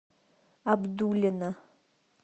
абдуллина